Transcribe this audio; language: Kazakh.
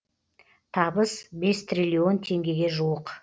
табыс бес триллион теңгеге жуық